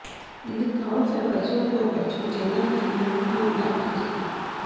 ఇందుకు కావలసిన పరిశోధన ఖర్చును చైనాకు చెందిన వుహాన్ ల్యాబ్ భరిస్తుంది